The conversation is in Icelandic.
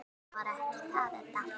Nei, það var ekki það, Edda.